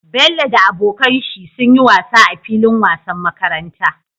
Bello da abokan shi sunyi wasa a filin wasan makaranta